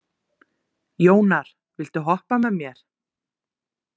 Jónar, viltu hoppa með mér?